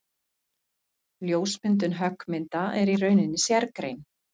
Ljósmyndun höggmynda er í rauninni sérgrein.